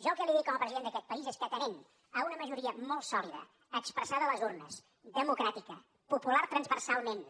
jo el que li dic com a president d’aquest país és que atenent a una majoria molt sòlida expressada a les urnes democràtica popular transversalment